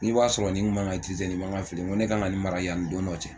N k'i b'a sɔrɔ nin kun man ka nin man kafili n ko ne kan ka nin mara yan ni don dɔ cɛ.